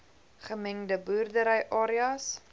gemengde boerdery areas